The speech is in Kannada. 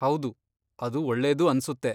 ಹೌದು, ಅದು ಒಳ್ಳೇದು ಅನ್ಸುತ್ತೆ.